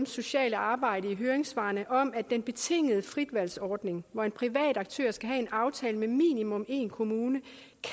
sociale arbejde i høringssvarene om at den betingede fritvalgsordning hvor en privat aktør skal have en aftale med minimum én kommune